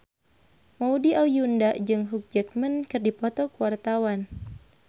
Maudy Ayunda jeung Hugh Jackman keur dipoto ku wartawan